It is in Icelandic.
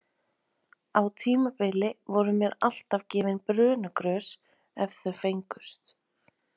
Á tímabili voru mér alltaf gefin brönugrös ef þau fengust.